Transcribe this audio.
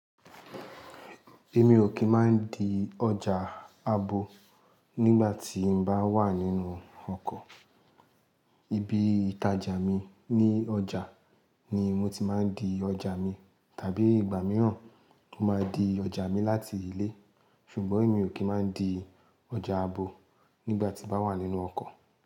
Èmi ò kì í máa ń di ọjà abo nígbà tí n bá wà nínú ọkọ̀. Ibi ìtajà mi ní ọjà ni mo ti máa ń di ọjà mi. Tàbí ìgbà mìíràn, mo máa di ọjà mi láti ilé. Ṣùgbọ́n èmi ò kí ń máa ń di ọjà abo nígbà tí n bá wà nínú ọkọ̀